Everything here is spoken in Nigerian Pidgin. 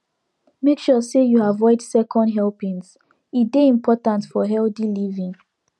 make sure say you avoid second helpings e dey important for healthy living